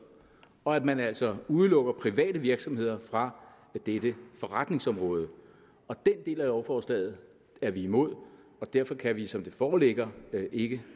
og at man altså udelukker private virksomheder fra dette forretningsområde den del af lovforslaget er vi imod og derfor kan vi som det foreligger ikke